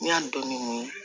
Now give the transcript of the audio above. N'i y'a dɔn ni